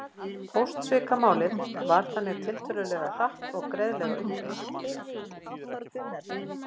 Póstsvikamálið var þannig tiltölulega hratt og greiðlega upplýst.